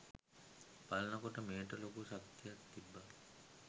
බලන කොට මෙයට ලොකු ශක්තියක් තිබ්බා